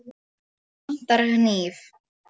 Mig vantar hníf.